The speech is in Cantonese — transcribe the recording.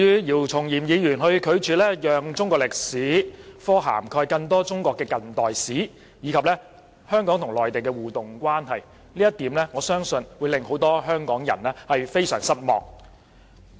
姚松炎議員拒絕讓中史科涵蓋更多中國近代史，以及香港與內地的互助關係，我相信這一點會令很多香港人非常失望。